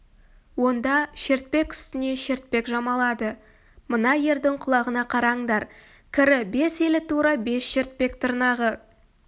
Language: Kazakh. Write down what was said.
онда шертпек үстіне шертпек жамалады мына ердің құлағына қараңдар кірі бес елі тура бес шертпек тырнағы